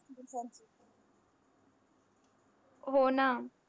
हो ना.